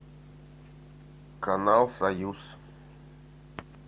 канал союз